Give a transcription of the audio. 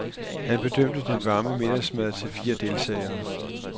Han bedømte den varme middagsmad til fire deltagere.